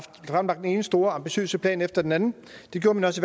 fremlagt den ene store ambitiøse plan efter den anden og det gjorde man også